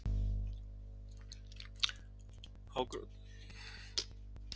Hágrátandi hljóp Emil af stað.